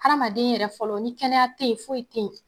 Hadamaden yɛrɛ fɔlɔ ni kɛnɛya te ye foyi te ye.